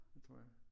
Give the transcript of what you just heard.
Det tror jeg